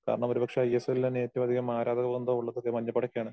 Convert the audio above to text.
കാരണം ഒരുപക്ഷെ ഐ.എസ്.എൽ തന്നെ ഏറ്റവും അധികം ആരാധകവൃന്ദം എന്തോ ഉള്ളത് ദേ മഞ്ഞപ്പടക്കാണ്.